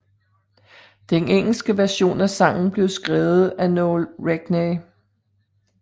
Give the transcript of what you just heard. Den engelske version af sangen blev skrevet af Noël Regney